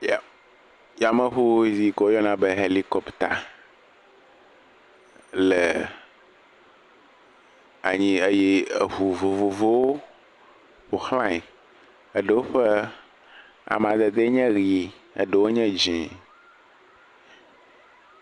Ya. Yameŋu yi ke woyɔna be ʋelikɔpta le anyi eye eŋu vovovowo ƒo ʋlãe. Eɖewo ƒe amadedee nye ʋi eɖewo nye dzẽ.